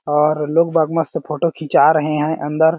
और लोग बाग मस्त फोटो खींचा रहै हैं अंदर --